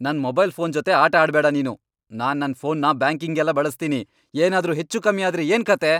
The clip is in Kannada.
ನನ್ ಮೊಬೈಲ್ ಫೋನ್ ಜೊತೆ ಆಟ ಆಡ್ಬೇಡ ನೀನು. ನಾನ್ ನನ್ ಫೋನ್ನ ಬ್ಯಾಂಕಿಂಗ್ಗೆಲ್ಲ ಬಳಸ್ತೀನಿ. ಏನಾದ್ರೂ ಹೆಚ್ಚೂಕಮ್ಮಿ ಆದ್ರೆ ಏನ್ಕಥೆ!